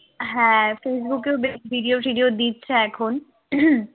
হ্যাঁ facebook এ ও বেশ video টিডিও দিচ্ছে এখন